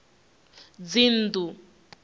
dzinnḓu